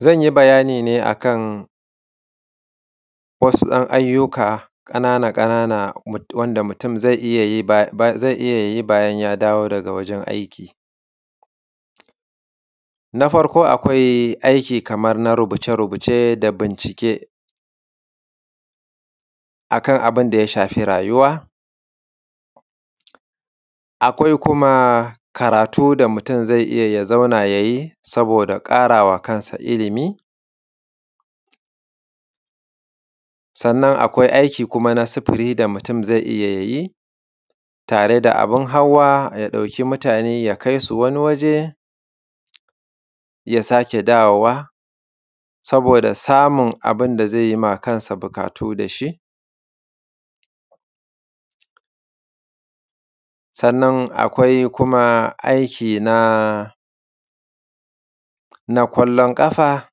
Zan yi bayani ne a kan wasu ‘yan ayyuka ƙanana ƙanana wanda mutum zai iya yi, zai iya yi bayan ya dawo daga wajen aiki. Na farko akwai aiki kamar na rubuce rubuce da bincike a kan abin da ya shafi rayuwa. Akwai kuma karatu da mutum zai iya ya zauna ya yi, saboda ƙara wa kansa ilimi. Sannan akwai aiki kuma na sufuri da mutum zai iya ya yi, tare da abin hawa, ya ɗauki mutane ya kai su wani waje, ya sake dawowa saboda samun abin da zai ma kansa buƙatu da shi. Sannan kuma akwai aiki na ƙwallon ƙafa,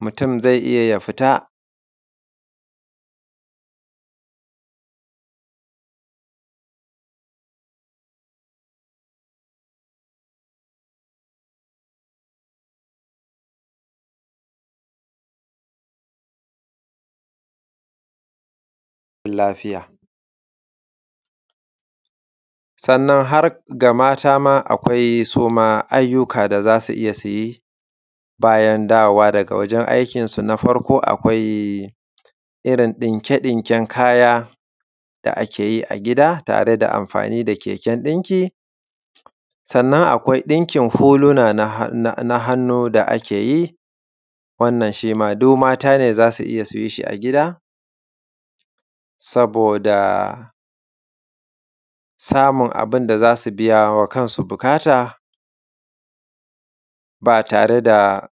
mutum zai iya ya fita…. lafiya. Sannan har ga mata ma akwai su ma ayyuka da za su iya su yi bayan dawowa daga wajen aikinsu. Na farko akwai irin ɗinke ɗinken kaya da ake yi a gida tare da amfani da keken ɗinki. Sannan akwai ɗinkin huluna na hannu da ake yi, wannan shi ma duk mata ne za su iya su yi shi a gida, saboda samun abin da za su biya wa kansu buƙata, ba tare da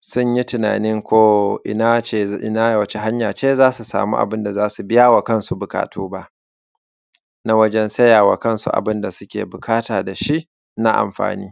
sun yi tunanin ko ina ce, wace hanya ce za su samu abin da za su biya wa kansu buƙatu ba, na wajen saya wa kansu abin da suke buƙata da shi na amfani.